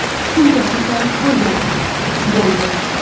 Shunchaki tanish bo‘lganmiz, bo‘ldi.